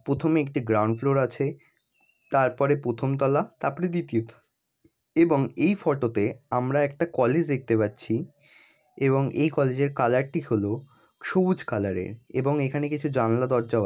প্রথমে একটি ground floor আছে। তারপরে প্রথম তলা তারপরে দ্বিতীয়ত এবং এই ফটো তে আমরা একটা কলেজ দেখতে পাচ্ছি এবং এই কলেজ এর কালার টি হল সবুজ কালার এর এবং এখানে কিছু জানলা দরজাও আ--